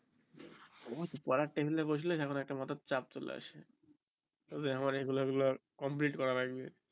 আমার পড়ার টেবিল এ বসলে কেমন একটা মাথাই চাপ চলে আসে তারপর আমার এগুলো এগুলো complete করা লাগবে